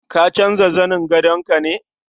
Ka canja zanin gadon ka ne?